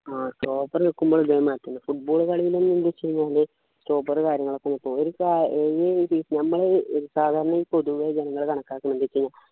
ആഹ് stopper നിക്കുമ്പോ ഇതേമാതിരി തന്നെ football കളിയിൽ ന്നു ച്ചുകഴിഞ്ഞാല് stopper കാര്യങ്ങളൊക്കെ നോക്കും ഒരിക്ക നമ്മള് സാധാരണ പൊതുവെ ഈ ജനങ്ങള് കണക്കാക്കുന്നതെന്ത് വെച്ച് കഴിഞ്ഞാ